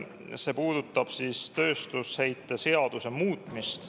See puudutab tööstusheite seaduse muutmist.